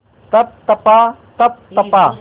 तप तपा तप तपा